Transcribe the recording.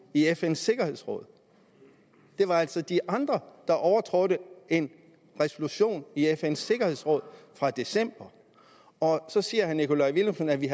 i fns sikkerhedsråd det var altså de andre der overtrådte en resolution i fns sikkerhedsråd fra december så siger herre nikolaj villumsen at vi